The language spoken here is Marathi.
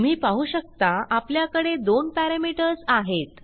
तुम्ही पाहु शकता आपल्याकडे दोन पॅरामीटर्स आहेत